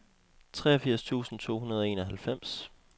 treogfirs tusind to hundrede og enoghalvfems